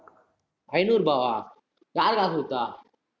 ஐநூறு ரூபாவா யாரு காசு குடுத்தா